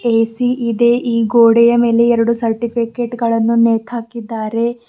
AC ಇದೆ ಈ ಗೋಡೆಯ ಮೇಲೆ ಎರಡು ಸರ್ಟಿಫಿಕೇಟ್ ಗಳನ್ನು ನೇತಾಕಿದ್ದಾರೆ.